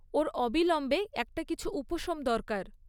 ওর অবিলম্বে একটা কিছু উপশম দরকার।